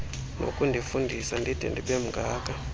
nokundifundisa ndide ndibemngaka